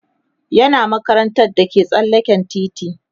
yana makarantar da ke tsallaken titi